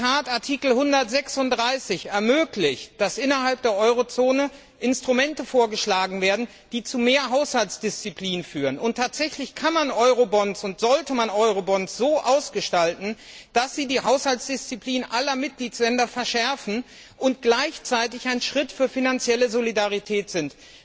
In der Tat, Artikel 136 ermöglicht es, dass innerhalb der Eurozone Instrumente vorgeschlagen werden, die zu mehr Haushaltsdisziplin führen. Und tatsächlich kann und sollte man Eurobonds so ausgestalten, dass sie die Haushaltsdisziplin aller Mitgliedstaaten verschärfen und gleichzeitig ein Schritt zu finanzieller Solidarität sind.